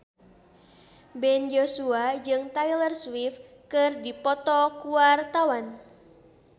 Ben Joshua jeung Taylor Swift keur dipoto ku wartawan